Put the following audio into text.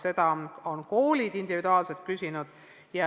Seda on ka koolid individuaalselt küsinud.